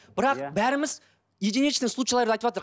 бірақ бәріміз единичный случайларды